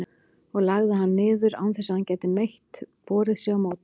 og lagði hann niður, án þess að hann gæti neitt borið sig á móti.